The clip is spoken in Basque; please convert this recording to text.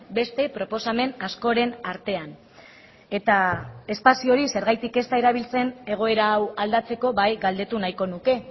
beste proposamen askoren artean eta espazio hori zergatik ez da erabiltzen egoera hau aldatzeko bai galdetu nahiko nuke